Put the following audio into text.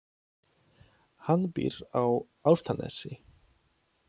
Hann býr á Álftanesi.